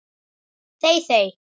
þey þey!